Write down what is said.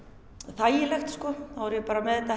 þægilegt þá er ég bara með þetta